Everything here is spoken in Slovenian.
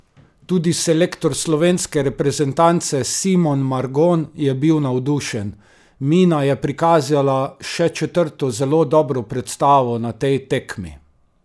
Tudi selektor slovenske reprezentance Simon Margon je bil navdušen: "Mina je prikazala še četrto zelo dobro predstavo na tej tekmi.